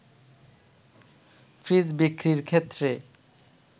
fridge বিক্রির ক্ষেত্রে